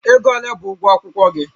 Ego ole bụ ụgwọ akwụkwọ gị?